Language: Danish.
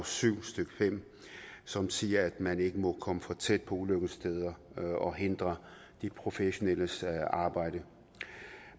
syv stykke fem som siger at man ikke må komme for tæt på ulykkessteder og hindre de professionelles arbejde